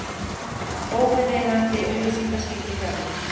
Óviðeigandi auglýsingaskilti fjarlægt